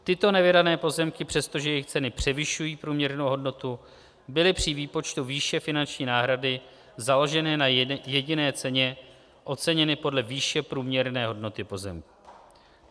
Tyto nevydané pozemky, přestože jejich ceny převyšují průměrnou hodnotu, byly při výpočtu výše finanční náhrady založeny na jediné ceně, oceněny podle výše průměrné hodnoty pozemku.